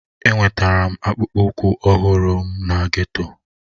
Enwetara m akpụkpọ ụkwụ ọhụrụ m na geto